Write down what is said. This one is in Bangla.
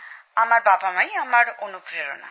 আমার বাবামা ই আমার অনুপ্রেরণা